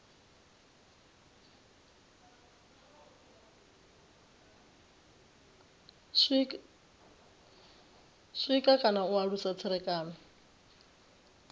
sikwa kana u alusa tserekano